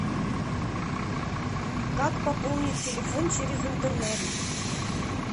как пополнить телефон через интернет